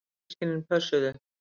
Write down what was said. Yngri systkinin pössuðu.